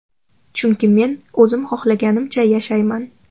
Chunki men o‘zim xohlaganimcha yashayman.